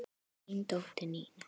Þín dóttir, Nína.